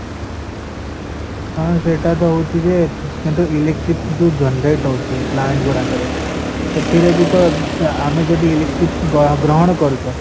ହଁ ସେଟା ତ ହଉଚି ଯେ କିନ୍ତୁ electric ଯୋଉ generate ହଉଚି plant ଗୁଡାକରେ ସେଥିରେ ବୀ ତ ଆମେ ଜଦୀ electric ଗ୍ରହଣ କରୁଛ